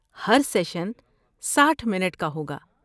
ہر session ساٹھ minute کا ہوگا